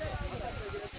Onda eləməyin.